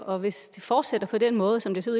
og hvis det fortsætter på den måde som det ser